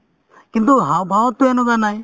কিন্তু হাওঁফাওঁতো এনেকুৱা নাই